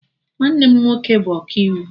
Nwanne m nwoke bụ ọkaiwu